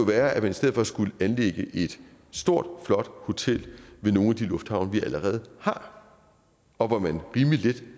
være at vi i stedet for skulle anlægge et stort flot hotel ved nogle af de lufthavne vi allerede har og hvor man rimelig let